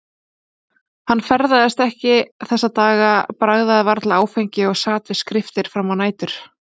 Hann ferðaðist ekki þessa daga, bragðaði varla áfengi og sat við skriftir fram á nætur.